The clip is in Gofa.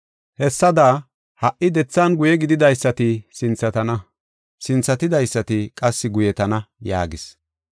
“Hessada ha77i dethan guye gididaysati sinthatana, sinthatidaysati qassi guyetana” yaagis.